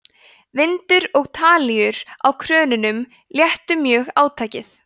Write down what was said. vindur og talíur á krönunum léttu mjög átakið